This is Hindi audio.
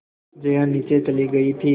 जया नीचे चली गई थी